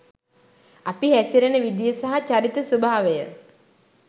අපි හැසිරෙන විදිය සහ චරිත ස්වභාවය